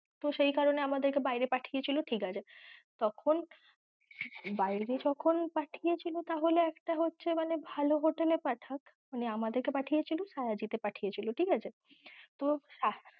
তো সেই কারণে আমাদের কে বায়েরে পাঠিয়েছিল, ঠিকাছে তখন বায়েরে যখন পাঠিয়েছিল তাহলে একটা হচ্ছে মানে ভালো hotel এ পাঠাক, মানে আমাদের কে পাঠিয়েছিল শায়াজি তে পাঠিয়েছিল, ঠিকাছে তো